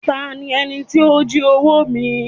"Ta ni ẹní ti o jí owo mi?"